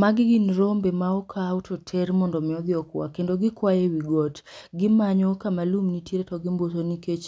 Magi gin rombe ma okaw toter mondo mi odhi okwa. Kendo kikwayo ewi got. Gimanyo kama lum nitiere to gimbuso nikech